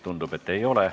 Tundub, et ei ole.